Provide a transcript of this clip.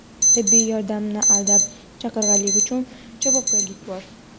Tibbiy yordamni aldab chaqirganlik uchun javobgarlik bor.